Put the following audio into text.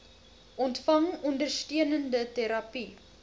ontvang ondersteunende terapie